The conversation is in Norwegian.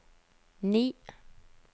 ni